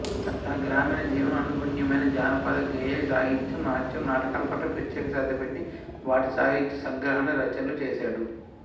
తనగ్రామీణ జీవనం అనుగుణ్యమైన జానపదగేయసాహిత్యం నాట్యం నాటకాల పట్ల ప్రత్యేక శ్రద్ధ పెట్టి వాటిసాహిత్య సంగ్రహణ రచనలు చేశాడు